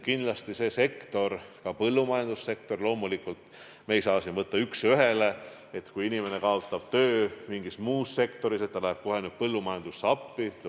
Loomulikult me ei saa siin võtta üks ühele, et kui inimene kaotab töö mingis muus sektoris, siis ta läheb nüüd kohe põllumajandusse appi.